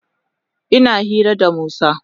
Ina hira da Musa.